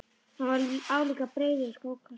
Hann var álíka breiður og skókassi.